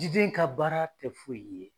Diden ka baara Tɛ foyi ye.